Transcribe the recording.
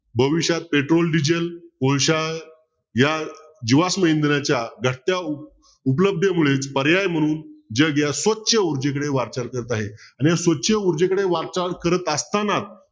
भविष्य petrol diesel कोळश्या या जीवाष्म इंधिनाच्या घटत्या उपलब्धतेमुळेच पर्याय म्हणून जग या स्वच्छ ऊर्जेकडे वाटचाल करत आहे आणि स्वच्छ ऊर्जेकडे वाटचाल करत असताना